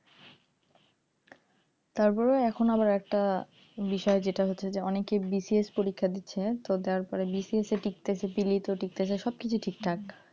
তারপরেও এখন আবার একটা বিষয় হচ্ছে যে অনেকেই BCS পরীক্ষা দিচ্ছে তবে তারপরে BCS টিঁকতেছে preli তে টিঁকতেছে সব কিছু ঠিকঠাক,